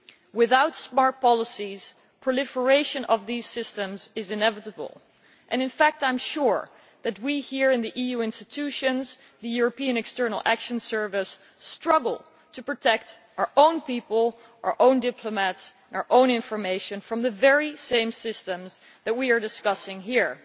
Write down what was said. Without smart policies, proliferation of these systems is inevitable and in fact I am sure that we here in the EU institutions, the European External Action Service, struggle to protect our own people, our own diplomats and our own information from the very same systems that we are discussing here.